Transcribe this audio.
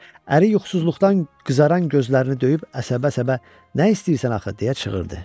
Əri yuxusuzluqdan qızaran gözlərini döyüb əsəbə-əsəbə nə istəyirsən axı, deyə çığırdı.